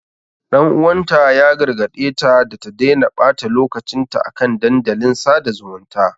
Ɗan uwanta ya gargaɗe ta da ta daina ɓata lokacin ta a kan dandalin sada zumunta.